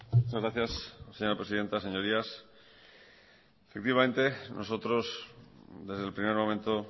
muchas gracias señora presidenta señorías efectivamente nosotros desde el primer momento